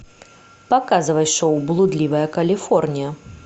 показывай шоу блудливая калифорния